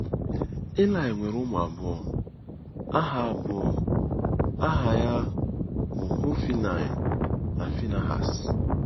Ilaị nwere ụmụ abụọ, aha abụọ, aha ya bụ Họfnaị na Finihas.